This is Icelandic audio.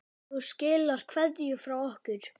Þú skilar kveðju frá okkur.